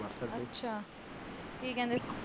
ਅੱਛਾ! ਕੀ ਕਹਿੰਦੇ?